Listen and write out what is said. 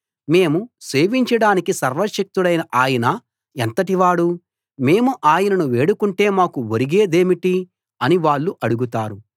మేము సేవించడానికి సర్వశక్తుడైన ఆయన ఎంతటి వాడు మేము ఆయనను వేడుకుంటే మాకు ఒరిగే దేమిటి అని వాళ్ళు అడుగుతారు